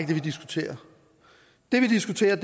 det vi diskuterer det vi diskuterer